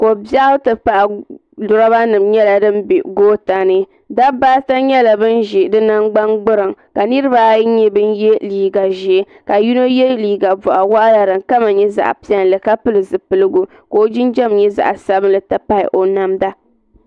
Kobiɛɣu ti pahi loba nima ka di be goota ni dabba ata nyɛla ban ʒi di nangban gbiriŋ ka niriba ayi nyɛ bin ye liiga ʒee ka yino ye liiga boɣu waɣala din kama nyɛ zaɣa piɛlli ka pili zipiligu ka o jinjiɛm nyɛ zaɣa sabinli ti pahi namda.